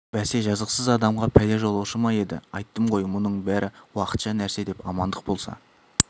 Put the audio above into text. бәсе жазықсыз адамға пәле жолаушы ма еді айттым ғой мұның бәрі уақытша нәрсе деп амандық болса